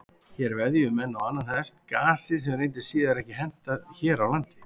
Hér veðjuðu menn á annan hest, gasið, sem reyndist síðar ekki henta hér á landi.